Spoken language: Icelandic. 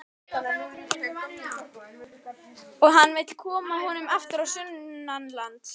Og hann vill koma honum aftur á sunnanlands.